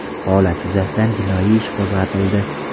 Holat yuzasidan jinoiy ish qo‘zg‘atildi.